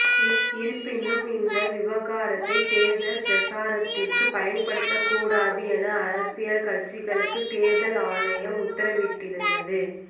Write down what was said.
இருப்பினும் இந்த விவகாரத்தை தேர்தல் பிரச்சாரத்திற்கு பயன்படுத்த கூடாது என அரசியல் கட்சிகளுக்கு தேர்தல் ஆணையம் உத்தரவிட்டிருந்தது